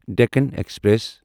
Deccan express